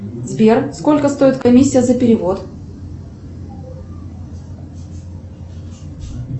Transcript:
сбер сколько стоит комиссия за перевод